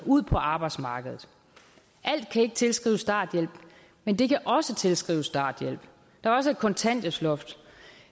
ud på arbejdsmarkedet alt kan ikke tilskrives starthjælp men det kan også tilskrives starthjælp der var også et kontanthjælpsloft